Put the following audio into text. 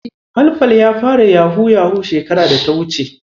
Falfal ya fara yahu-yahu shekarar da ta wuce.